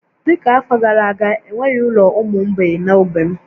Dị ka afọ gara aga, e nweghị ụlọ ụmụ mgbei na ogbe m